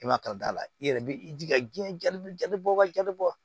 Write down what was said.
I ma taa o da la i yɛrɛ b'i jija diɲɛ jabi waati bɔ